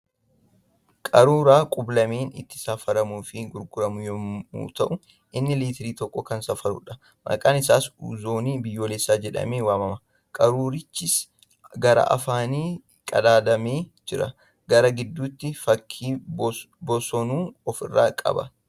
Qaruura qub-lameen itti safaramuu fi gurguramu yemmuu ta'u inni liitira tokko kan safaruudha. Maqaan isaa ' Uuzoo Biyyoolesaaa jedhamee waamana. Qaruurichis garaa afaaniin qadaadamee jira. Garaa gidduudhaa fakkii bosonuu ofirraa qaba.